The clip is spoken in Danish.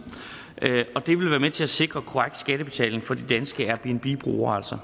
og det vil være med til at sikre korrekt skattebetaling for de danske airbnb brugere